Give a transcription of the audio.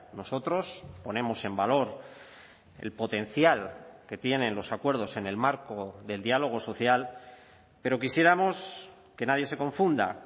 nosotros ponemos en valor el potencial que tienen los acuerdos en el marco del diálogo social pero quisiéramos que nadie se confunda